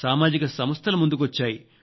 సామాజిక సంస్థలు ముందుకొచ్చాయి